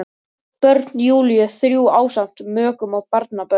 Börn Júlíu þrjú ásamt mökum og barnabörnum.